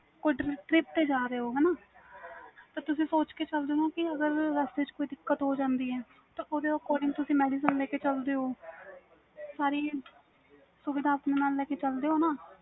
ਕੁਛ trip ਤੇ ਜਾ ਰਹੇ ਹੋ ਤੇ ਤੁਸੀ ਸੋਚ ਕੇ ਚਲਦੇ ਹੋ ਅਗਰ ਰਸਤੇ ਵਿਚ ਦਿਕਤ ਹੋ ਜਾਂਦੀ ਵ ਓਹਦੇ according ਤੁਸੀ madicine ਲੈ ਕੇ ਚਲ ਦੇ ਹੋ ਸਾਰੀ ਸੁਵਿਧਾ ਲੈ ਕੇ ਨਾਲ ਚਲ ਦੇ ਹੋ ਨਾ